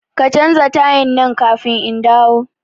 Ka canza tayan nan kafin indawo